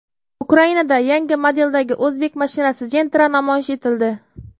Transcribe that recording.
Ukrainada yangi modeldagi o‘zbek mashinasi Gentra namoyish etildi.